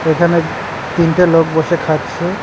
এখানে তিনটে লোক বসে খাচ্ছে।